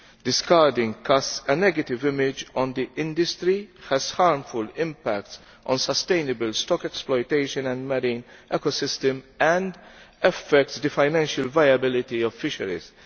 Discarding casts a negative image on the industry, has a harmful impact on sustainable stock exploitation and marine ecosystems and affects the financial viability of fisheries.